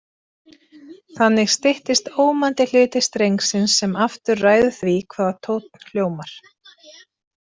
Þannig styttist ómandi hluti strengsins sem aftur ræður því hvaða tónn hljómar.